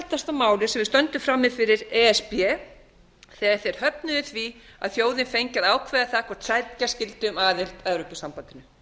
sem við stöndum frammi fyrir e s b þegar þeir höfnuðu því að þjóðin fengi að ákveða það hvort sækja skyldi um aðild að evrópusambandinu